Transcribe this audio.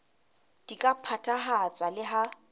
di ka phethahatswa le ha